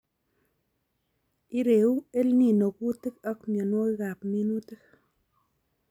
Ireu EL Nino kuutik ak mienwokikab minutik